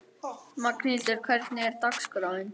Magnhildur, hvernig er dagskráin?